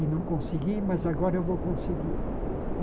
e não consegui, mas agora eu vou conseguir.